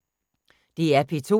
DR P2